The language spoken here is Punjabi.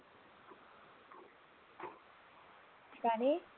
ਕਾਹਦੇ